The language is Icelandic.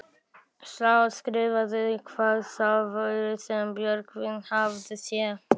Þá skýrðist hvað það var sem Björgvin hafði séð.